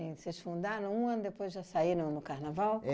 Vocês fundaram um ano depois já saíram no Carnaval?